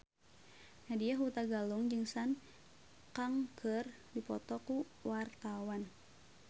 Nadya Hutagalung jeung Sun Kang keur dipoto ku wartawan